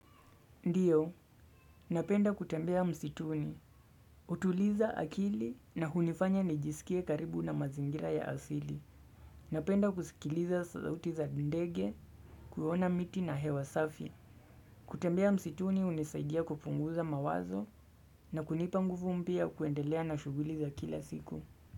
Ndiyo, napenda kutembea msituni. Utuliza akili na hunifanya nijisikie karibu na mazingira ya asili. Napenda kusikiliza sauti za kindege, kuyona miti na hewa safi. Kutembea msituni unisaidia kupunguza mawazo na kunipa nguvu mpia kuendelea na shuguli za kila siku.